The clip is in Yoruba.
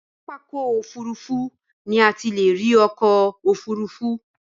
Pápákọ̀ òfurufú ni a ti lè rí ọkọ̀ òfurufú.